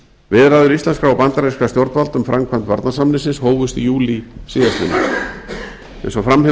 viðræður íslenskra og bandarískra stjórnvalda um framkvæmd varnarsamningsins hófust í júlí síðastliðnum eins og fram hefur